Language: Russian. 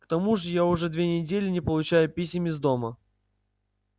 к тому же я уже две недели не получаю писем из дома